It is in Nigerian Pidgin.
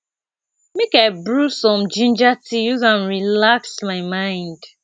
make i brew some ginger tea use am relax my mind